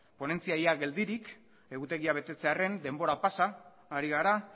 ponentzia ia geldirik egutegia betetzearren denbora pasa ari gara